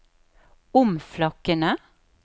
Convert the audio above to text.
omflakkende